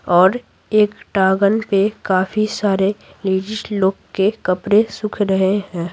और एक टागन पे काफी सारे लेडीज़ लोग के कपड़े सुख रहे हैं।